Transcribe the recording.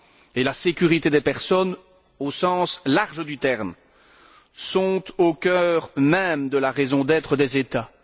et la sécurité des personnes, au sens large du terme, sont au cœur même de la raison d'être des États.